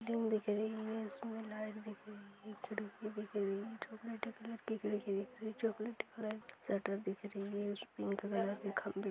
Room दिख रही है इसमें लाइट दिख रही है एच.डी. की दिख रही है चॉकलेटी कलर खिड़की दिख रही है चॉकलेटी कलर शटर दिख रही है इसमें पिंक कलर के खम्बे --